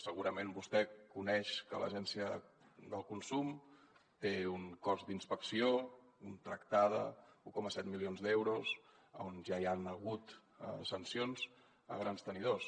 segurament vostè coneix que l’agència del consum té un cos d’inspecció contractada un coma set milions d’euros a on ja hi han hagut sancions a grans tenidors